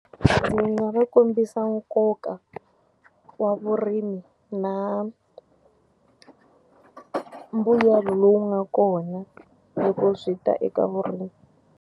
Ndzi nga va kombisa nkoka wa vurimi na mbuyelo lowu nga kona loko swi ta eka vurimi.